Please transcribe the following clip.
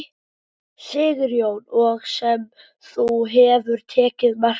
Sigurjón: Og sem þú hefur tekið mark á?